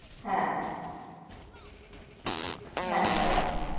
হ্যা, হ্যা হ্যা রাখো।